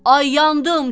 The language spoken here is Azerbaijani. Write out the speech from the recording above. Ay, yandım!